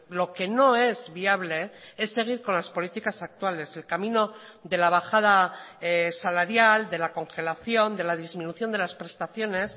lo que no es viable es seguir con las políticas actuales el camino de la bajada salarial de la congelación de la disminución de las prestaciones